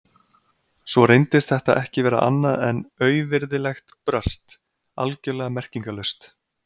Svo reyndist þetta ekki vera annað en auvirðilegt brölt, algjörlega merkingarlaust.